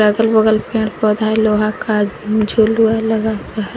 अगल बगल पेड़ पौधा है लोहा का झुलुआ लगा हुआ है।